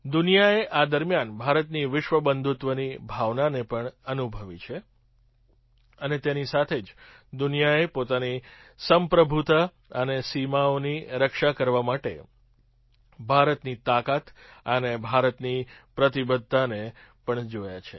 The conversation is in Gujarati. દુનિયાએ આ દરમિયાન ભારતની વિશ્વ બંધુત્વની ભાવનાને પણ અનુભવી છે અને તેની સાથે જ દુનિયાએ પોતાની સંપ્રભુતા અને સીમાઓની રક્ષા કરવા માટે ભારતની તાકાત અને ભારતની પ્રતિબદ્ધતાને પણ જોયાં છે